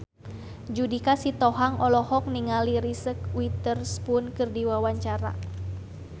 Judika Sitohang olohok ningali Reese Witherspoon keur diwawancara